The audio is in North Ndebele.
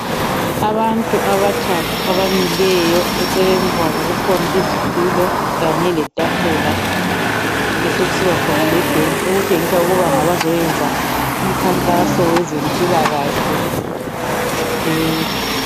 Abantu abathathu abamileyo eceleni kwabo kukhona izitulo Kanye letafula kube sekusina khona le bhentshi okuntshengisa ukuba ngabazoyenza umkhankaso wezempilakahle